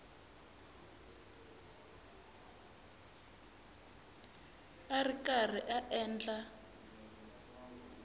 a ri karhi a endla